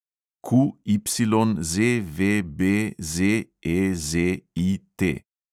QYZVBZEZIT